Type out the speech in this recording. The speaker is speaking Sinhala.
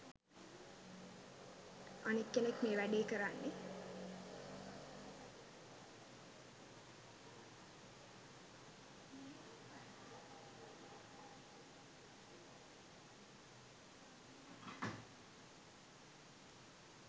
අනෙක කෙනෙක් මේ වගේ වැඩ කරන්නේ